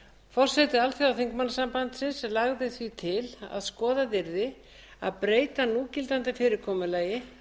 forseti alþjóðaþingmannasambandsins lagði því til að skoðað yrði að breyta núgildandi fyrirkomulagi